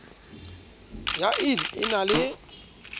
ya ill e na le